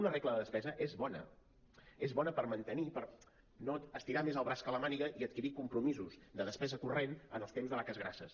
una regla de despesa és bona és bona per mantenir per no estirar més el braç que la màniga i adquirir compromisos de despesa corrent en els temps de vaques grasses